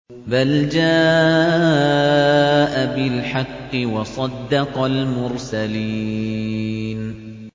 بَلْ جَاءَ بِالْحَقِّ وَصَدَّقَ الْمُرْسَلِينَ